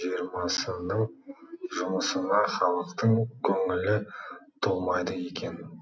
жиырмасының жұмысына халықтың көңілі толмайды екен